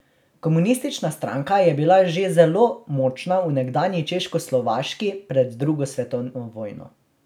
Komunistična stranka je bila že zelo močna v nekdanji Češkoslovaški pred drugo svetovno vojno.